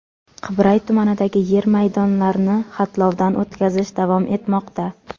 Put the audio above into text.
Qibray tumanidagi yer maydonlarni xatlovdan o‘tkazish davom etmoqda.